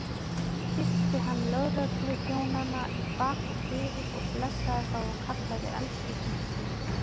Kyssti hann lögregluþjónana í bak og fyrir og blessaði þá og kallaði elskurnar sínar.